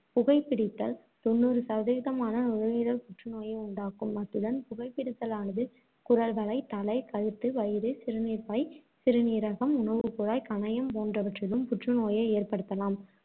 புகைப் பிடித்தல் தொண்ணூறு சதவீதமான நுரையீரல் புற்றுநோயை உண்டாக்கும். அத்துடன் புகைப்பிடித்தலானது குரல்வளை, தலை, கழுத்து, வயிறு, சிறுநீர்ப்பை, சிறுநீரகம், உணவுக்குழாய், கணையம் போன்றவற்றிலும் புற்றுநோயை ஏற்படுத்தலாம்.